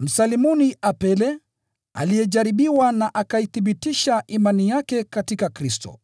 Msalimuni Apele aliyejaribiwa na akaithibitisha imani yake katika Kristo.